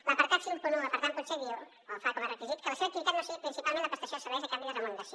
l’apartat cinquanta un per tant diu o fa com a requisit que la seva activitat no sigui principalment la prestació de serveis a canvi de remuneració